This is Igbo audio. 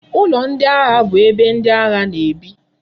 Ulo ndi agha bu ebe ndi agha na ebi